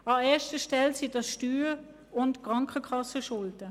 An erster Stelle sind es Steuer- und Krankenkassenschulden.